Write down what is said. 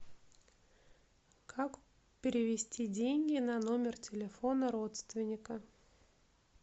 как перевести деньги на номер телефона родственника